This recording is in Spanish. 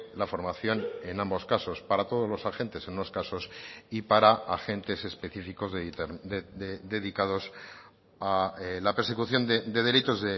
la formación en ambos casos para todos los agentes en unos casos y para agentes específicos dedicados a la persecución de delitos